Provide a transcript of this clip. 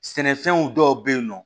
Sɛnɛfɛnw dɔw bɛ yen nɔ